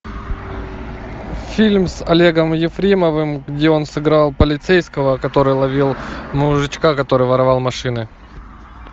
фильм с олегом ефремовым где он сыграл полицейского который ловил мужичка который воровал машины